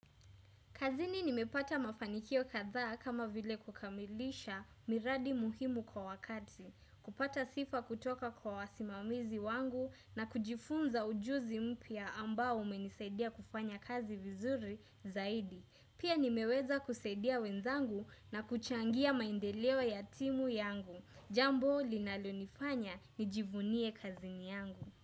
Kazini nimepata mafanikio kadhaa kama vile kukamilisha miradi muhimu kwa wakati, kupata sifa kutoka kwa wasimamizi wangu na kujifunza ujuzi mpya ambao umenisaidia kufanya kazi vizuri zaidi. Pia nimeweza kusaidia wenzangu na kuchangia maendeleo ya timu yangu. Jambo linalonifanya nijivunie kazini yangu.